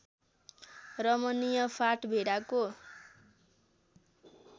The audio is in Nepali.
रमणीय फाँट भेडाको